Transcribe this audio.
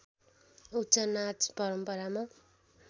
उक्त नाच परम्परामा